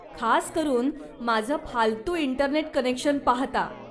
खासकरून माझं फालतू इंटरनेट कनेक्शन पाहता.